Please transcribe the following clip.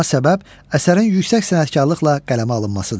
Buna səbəb əsərin yüksək sənətkarlıqla qələmə alınmasıdır.